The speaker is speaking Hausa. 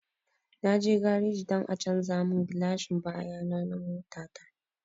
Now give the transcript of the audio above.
Na je gareji don a canja mun gilashin baya na mota ta